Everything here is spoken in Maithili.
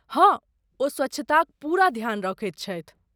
हँ, ओ स्वच्छताक पूरा ध्यान रखैत छथि।